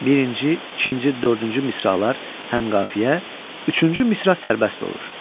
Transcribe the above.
Birinci, ikinci, dördüncü misralar həm qafiyə, üçüncü misra sərbəst olur.